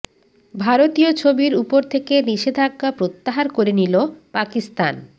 ভারতীয় ছবির উপর থেকে নিষেধাজ্ঞা প্রত্যাহার করে নিল পাকিস্তান